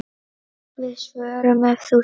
Við svörum ef hún spyr.